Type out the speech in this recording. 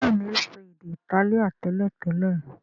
béèni, o so èdè Itálíà teletele.